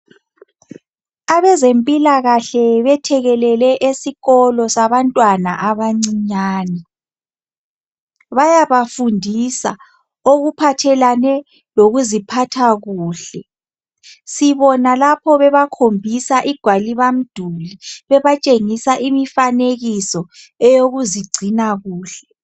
Abezempilakahle bethekelele esikolo sabantwana abancinyane. Bayabafundisa okuphathelene lokuziphatha kuhle. Sibona lapho bebakhombisa igwaliba mduli bebatshengisa imifanekiso eyokuzigcina kuhle.